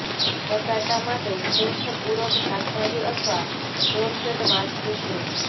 બટાટા માટે શ્રેષ્ઠ પૂરક શાકભાજી અથવા નોનફેટ માછલી છે